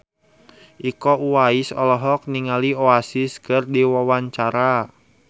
Iko Uwais olohok ningali Oasis keur diwawancara